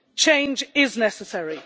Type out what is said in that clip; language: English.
Change is necessary.